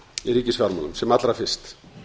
í ríkisfjármálum sem allra fyrst